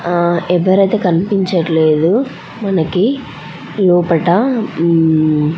ఆహ్ ఆహ్ ఎవరైతే కనిపించట్లేదు మనకి లోపట --